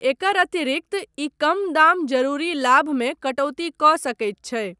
एकर अतिरिक्त ई कम दाम जरूरी लाभमे कटौती कऽ सकैत छै।